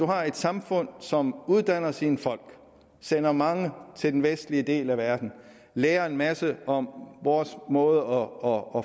har et samfund som uddanner sine folk sender mange til den vestlige del af verden lærer en masse om vores måde og